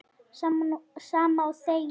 Sama og þegið!